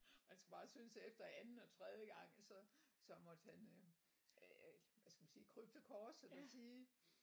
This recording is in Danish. Man skal bare synes efter anden og tredje gang så så måtte han øh det ved jeg ikke hvad skal man sige krybe til korset og sige